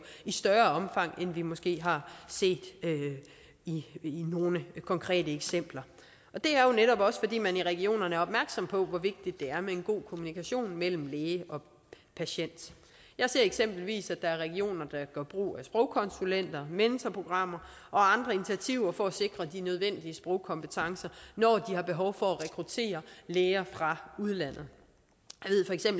i større omfang end vi måske har set det i nogle konkrete eksempler det er jo netop også fordi man i regionerne er opmærksom på hvor vigtigt det er med en god kommunikation mellem læge og patient jeg ser eksempelvis at der er regioner der gør brug af sprogkonsulenter mentorprogrammer og andre initiativer for at sikre de nødvendige sprogkompetencer når de har behov for at rekruttere læger fra udlandet